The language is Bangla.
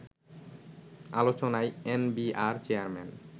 আলোচনায় এনবিআর চেয়ারম্যান